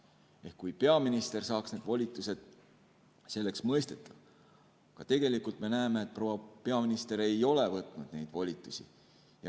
Ehk kui peaminister saaks need volitused, see oleks mõistetav, aga tegelikult me näeme, et proua peaminister ei ole võtnud neid volitusi.